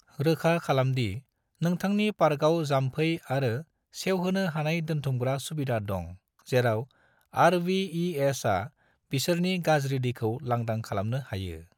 रोखा खालामदि नोंथांनि पार्कआव जाम्फै आरो सेवहोनो हानाय दोनथुमग्रा सुबिदा दं जेराव आर.वी.ई.एस. आ बिसोरनि गाज्रि दैखौ लांदां खालामनो हायो।